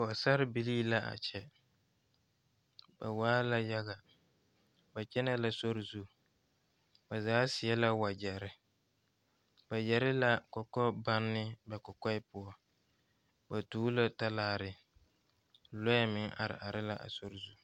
Pɔgesera bile la a kyɛ ba waa la yaga, ba kyɛne la sori zu ,ba zaa saɛ la wagyere ba yɛre la kɔkɔ bonne ba kɔkɔɛ poɔ ,ba tuo la talaare lɔɛ meŋ are are la a sori zu.